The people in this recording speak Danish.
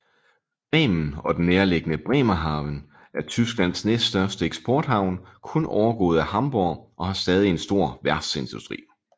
Bremen og den nærliggende Bremerhaven er Tysklands næststørste eksporthavn kun overgået af Hamborg og har stadig en stor værftsindustri